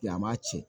Yan maa cɛ